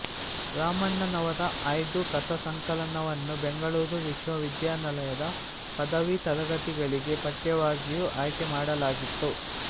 ರಾಮಣ್ಣನವರ ಆಯ್ದ ಕಥಾಸಂಕಲನವನ್ನೂ ಬೆಂಗಳೂರು ವಿಶ್ವವಿದ್ಯಾಲಯದ ಪದವಿ ತರಗತಿಗಳಿಗೆ ಪಠ್ಯವಾಗಿಯೂ ಆಯ್ಕೆಮಾಡಲಾಗಿತ್ತು